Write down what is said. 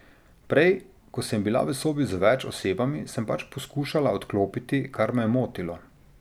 Prej, ko sem bila v sobi z več osebami, sem pač poskušala odklopiti, kar me je motilo.